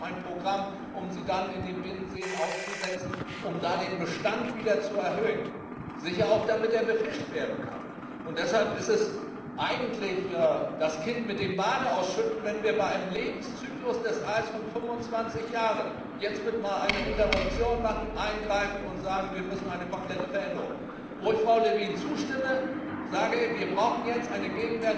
Und wir haben ein Programm, um sie dann in den Binnenseen auszusetzen, um da den Bestand wieder zu erhöhen, sicher auch damit er befischt werden kann. Deshalb würde man eigentlich das Kind mit dem Bade ausschütten, wenn wir bei einem Lebenszyklus des Aals von 25 Jahren jetzt nicht einmal eine Interruption machen, eingreifen und sagen, wir müssen eine komplette Veränderung herbeiführen. Wo ich Frau Lövin zustimme Wir brauchen jetzt